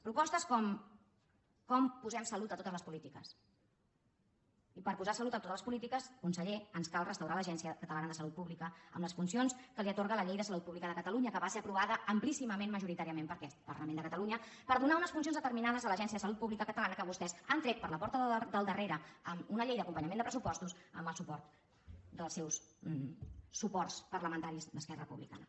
propostes com com posem salut a totes les polítiques i per posar salut a totes les polítiques conseller ens cal restaurar l’agència catalana de salut pública amb les funcions que li atorga la llei de salut pública de catalunya que va ser aprovada amplíssimament majoritàriament per aquest parlament de catalunya per donar unes funcions determinades a l’agència de salut pública catalana que vostès han tret per la porta del darrere amb una llei d’acompanyament de pressupostos amb el suport dels seus suports parlamentaris d’esquerra republicana